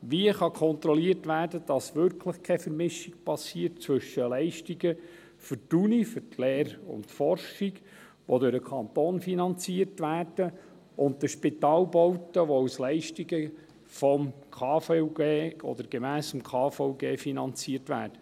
Wie kann kontrolliert werden, dass wirklich keine Vermischung geschieht zwischen Leistungen für die Uni, also für die Lehre und Forschung, die durch den Kanton finanziert werden, und den Spitalbauten, die als Leistungen gemäss Bundesgesetz über die Krankenversicherung (KVG) finanziert werden?